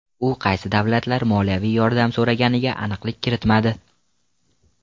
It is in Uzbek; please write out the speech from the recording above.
U qaysi davlatlar moliyaviy yordam so‘raganiga aniqlik kiritmadi.